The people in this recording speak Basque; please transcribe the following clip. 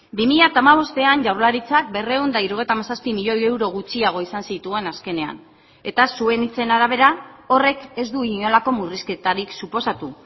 bi mila hamabostean jaurlaritzak berrehun eta hirurogeita hamazazpi milioi euro gutxiago izan zituen azkenean eta zuen hitzen arabera horrek ez du inolako murrizketarik suposatu